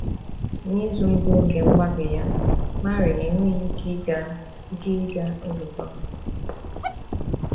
N’izu mbụ nke mgbake ya, Marie enweghị ike ịga ike ịga nzukọ.